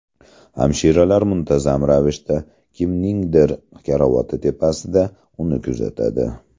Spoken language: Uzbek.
Hamshiralar muntazam ravishda kimningdir karavoti tepasida uni kuzatadi.